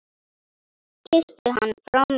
Kysstu hann frá mér.